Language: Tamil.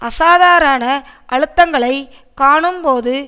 அசாதாரண அழுத்தங்களை காணும்போது